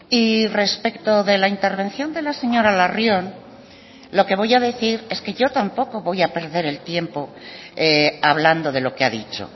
y respecto de la intervención de la señora larrion lo que voy a decir es que yo tampoco voy a perder el tiempo hablando de lo que ha dicho